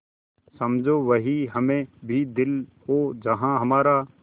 समझो वहीं हमें भी दिल हो जहाँ हमारा